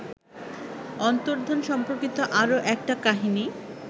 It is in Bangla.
অন্তর্ধান সম্পর্কিত আরও একটা কাহিনি